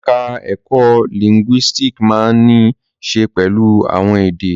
Ẹ̀ka ẹ̀kó lìńgúísíìkì máa ń ní í ṣe pẹ̀lú àwọn èdè.